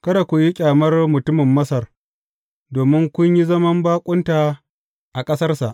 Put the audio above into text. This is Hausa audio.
Kada ku yi ƙyamar mutumin Masar, domin kun yi zama baƙunta a ƙasarsa.